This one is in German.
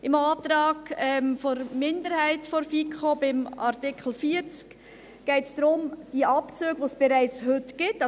Im Antrag der Minderheit der FiKo zu Artikel 40 geht es darum, dass die Abzüge, die es bereits heute gibt ...